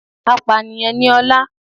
Apànìyàn ni Ọlá